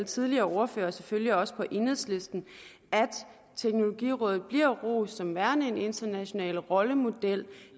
tidligere ordførere og selvfølgelig også på enhedslisten at teknologirådet bliver rost som værende en international rollemodel